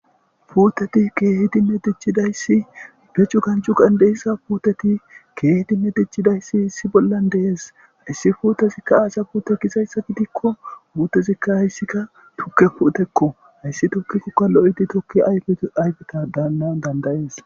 Puteti kehidinee dicizayis be cugan cugan de'eyisa puteti medhetidayis issi bollan des hese putezika aza pute gizayisa gidiko tuke puteko hayisaka loyithi tokiko ayipanawu danida'es